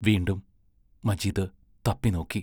വീണ്ടും മജീദ് തപ്പി നോക്കി.